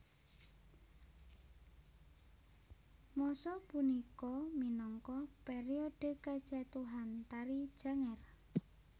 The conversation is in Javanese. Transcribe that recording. Masa punika minangka periode kejatuhan Tari Janger